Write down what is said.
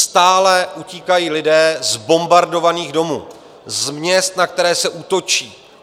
Stále utíkají lidé z bombardovaných domů, z měst, na která se útočí.